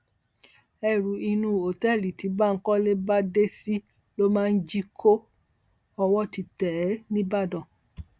ẹ̀rù inú òtẹ́ẹ̀lì tí bánkọ́lé bá dé sí ló máa ń jí kó ọwọ́ ti tẹ̀ ẹ́ níbàdàn